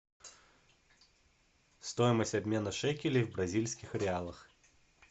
стоимость обмена шекелей в бразильских реалах